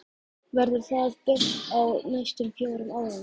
Verður það byggt á næstum fjórum árum?